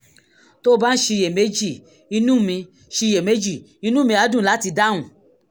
tó o bá ń ṣiyèméjì inú mi ṣiyèméjì inú mi á dùn láti dáhùn